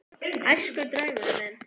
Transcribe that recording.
Æskudraumurinn minn?